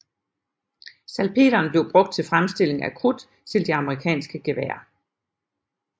Salpeteren blev brugt til fremstilling af krudt til de amerikanske geværer